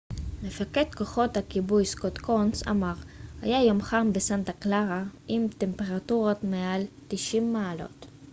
מפקד כוחות הכיבוי סקוט קונס אמר היה יום חם בסנטה קלרה עם טמפרטורות מעל 90 מעלות